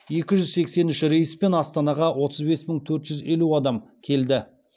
екі жүз сексен үш рейспен астанаға отыз бес мың төрт жүз елу адам келді